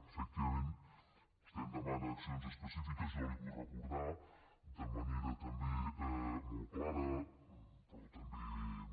efectivament vostè em demana accions específiques jo li vull recordar de manera també molt clara però també